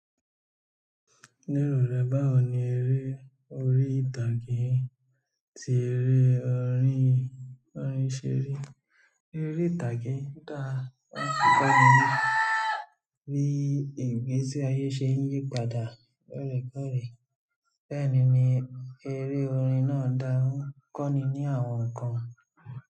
Ní ìrù rẹ̀, báwo ni eré orí ìtàgé tí eré orin, orin ṣeri. Eré orí ìtàgé dà ń fipá mi ní bí ìgbésí ayé ṣe ń yípadà lóòrèkóòrè. Bẹ́ẹ̀ ni eré orin náà dà ń kọ́ni ní àwọn nǹkan.